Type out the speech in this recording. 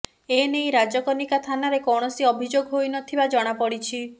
ଏ ନେଇ ରାଜକନିକା ଥାନାରେ କୈଣସି ଅଭିଯୋଗ ହୋଇନଥିବା ଜଣାପଡିଛି